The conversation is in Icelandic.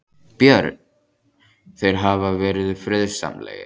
Björn: Þeir hafa verið friðsamlegir?